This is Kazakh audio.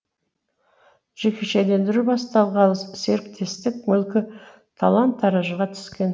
жекешелендіру басталғалы серіктестік мүлкі талан таражға түскен